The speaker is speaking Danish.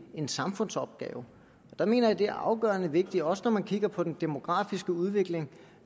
en samfundsopgave der mener jeg det er afgørende vigtigt også når man kigger på den demografiske udvikling